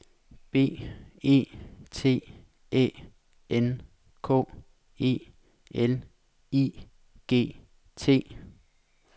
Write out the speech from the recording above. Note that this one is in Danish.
B E T Æ N K E L I G T